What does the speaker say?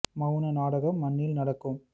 மௌன நாடகம் மண்ணில் நடக்குது